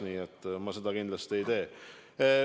Nii et seda ma kindlasti ei tee.